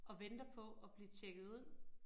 Og venter på at blive tjekket ud